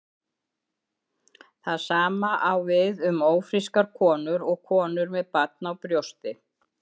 Það sama á við um ófrískar konur og konur með barn á brjósti.